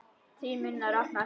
Þrír munnar opnast.